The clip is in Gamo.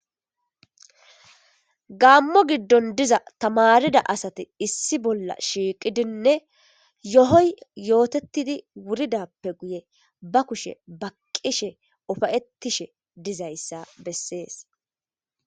Gaammo giddon diza tamarida asati issi bolla shiqqidine yohoyi yotetidi wuridappene ba kushe baqqishe uffayitishe diza issa beeses.